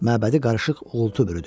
Məbədi qarışıq uğultu bürüdü.